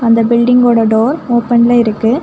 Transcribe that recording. அந்த பில்டிங்கோட டோர் ஓபன்ல இருக்கு.